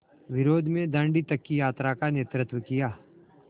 विरोध में दाँडी तक की यात्रा का नेतृत्व किया